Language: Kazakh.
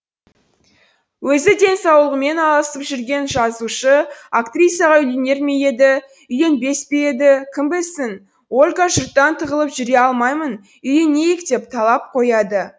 өзі денсаулығымен алысып жүрген жазушы актрисаға үйленер ме еді үйленбес пе еді кім білсін ольга жұрттан тығылып жүре алмаймын үйленейік деп талап қояды